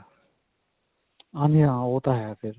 ਹਾਂਜੀ ਹਾਂ ਓਹ ਤਾਂ ਹੈਂ ਫੇਰ.